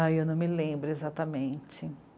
Ah, eu não me lembro exatamente.